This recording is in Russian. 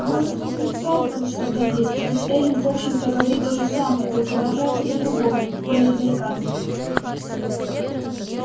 может в этом и вправду что-то есть ведь эллин в общем-то говорит то же самое только выражается по-другому более деликатно